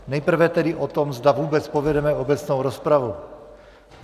Nejprve tedy o tom, zda vůbec povedeme obecnou rozpravu.